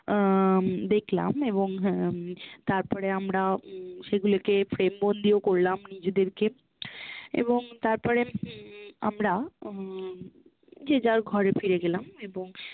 আহ দেখ্লাম এবং হম তারপরে আমরা উম সেগুলোকে frame বন্ধি ও করলাম নিজেদেরকে এবং তারপরে হম আমরা উম যে-যার ঘরে ফিরে গেলাম এবং